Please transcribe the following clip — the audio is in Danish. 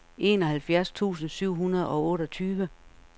enoghalvfjerds tusind syv hundrede og otteogtyve